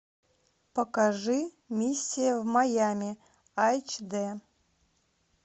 покажи миссия в майами айч д